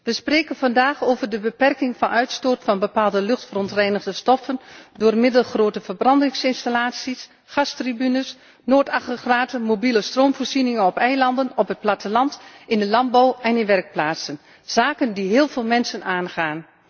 We spreken vandaag over de beperking van de uitstoot van bepaalde luchtverontreinigende stoffen door middel van grote verbrandingsinstallaties, gasturbines, noodaggregaten, mobiele stroomvoorzieningen op eilanden, op het platteland, in de landbouw en in werkplaatsen, zaken die heel veel mensen aangaan.